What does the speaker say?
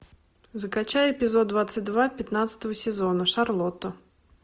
закачай эпизод двадцать два пятнадцатого сезона шарлотта